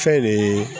Fɛn de ye